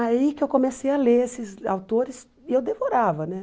Aí que eu comecei a ler esses autores e eu devorava, né?